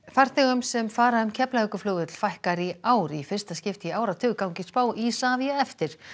farþegum sem fara um Keflavíkurflugvöll fækkar í ár í fyrsta skipti í áratug gangi spá Isavia eftir